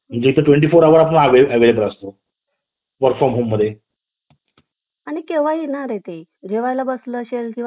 अं जागांची विभागणी केलेली आहे घटक राज्य विधान